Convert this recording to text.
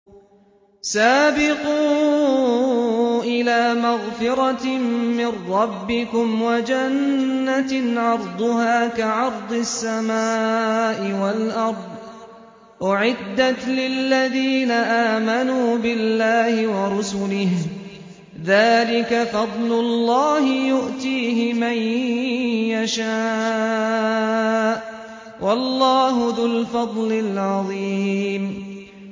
سَابِقُوا إِلَىٰ مَغْفِرَةٍ مِّن رَّبِّكُمْ وَجَنَّةٍ عَرْضُهَا كَعَرْضِ السَّمَاءِ وَالْأَرْضِ أُعِدَّتْ لِلَّذِينَ آمَنُوا بِاللَّهِ وَرُسُلِهِ ۚ ذَٰلِكَ فَضْلُ اللَّهِ يُؤْتِيهِ مَن يَشَاءُ ۚ وَاللَّهُ ذُو الْفَضْلِ الْعَظِيمِ